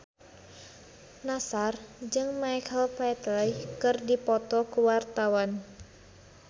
Nassar jeung Michael Flatley keur dipoto ku wartawan